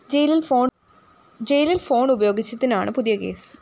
ജയിലില്‍ ഫോൺ ഉപയോഗിച്ചതിനാണ് പുതിയ കേസ്